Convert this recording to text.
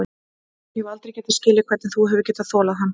Ég hef aldrei getað skilið hvernig þú hefur getað þolað hann.